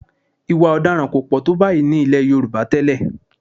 Ì̀wà ọ̀daràn kò pọ̀ tó báyìí ní ilẹ̀ Yorùbá tẹ́lẹ̀